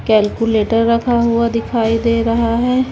Calculator रखा हुआ दिखाई दे रहा है।